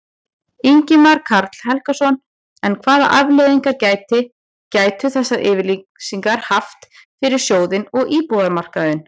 Ingimar Karl Helgason: En hvað afleiðingar gæti, gætu þessar yfirlýsingar haft fyrir sjóðinn og íbúðamarkaðinn?